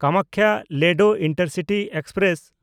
ᱠᱟᱢᱟᱠᱠᱷᱟ–ᱞᱮᱰᱳ intercity express